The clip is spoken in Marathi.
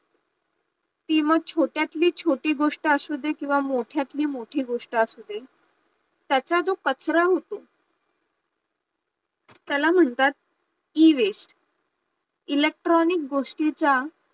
ती मग छोट्यातली छोटी गोष्ट असु दे किंवा मोठ्यातली मोठी गोष्ट असु दे, त्याचा जो कचरा होतो, त्याला म्हणतात Ewaste electronic गोष्टीचा